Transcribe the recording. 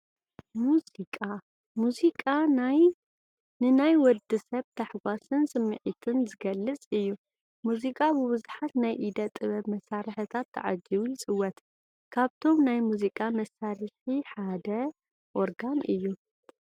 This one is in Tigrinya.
ሙዚቃ፡- ሙዚቃ ንናይ ወዲ ሰብ ታሕጓስን ስምዒትን ዝገልፅ እዩ፡፡ ሙዚቃ ብብዙሓት ናይ ኢደ ጥበብ መሳርሕታት ተዓጂቡ ይፅወት፡፡ ካብቶም ናይ ሙዚቃ መሳርሒ ሓደ ኦርጋን እዩ፡፡